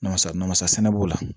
Namasa namasa sɛnɛ b'o la